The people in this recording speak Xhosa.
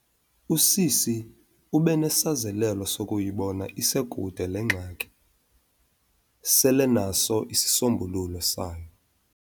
Usisi ube nesazelelo zokuyibona isekude le ngxaki, selenaso isisombululo sayo.